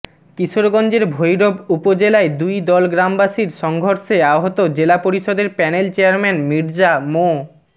কিশোরগঞ্জের ভৈরব উপজেলায় দুইদল গ্রামবাসীর সংঘর্ষে আহত জেলা পরিষদের প্যানেল চেয়ারম্যান মির্জা মো